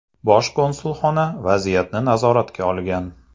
Bosh konsulxona vaziyatni nazoratga olgan.